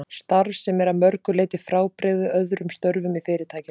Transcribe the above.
Starf sem er að mörgu leyti frábrugðið öðrum störfum í Fyrirtækinu.